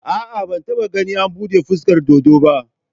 A'a, ban taɓa ganin an buɗe fuskar dodo ba